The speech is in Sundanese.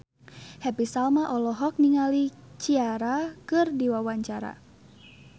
Happy Salma olohok ningali Ciara keur diwawancara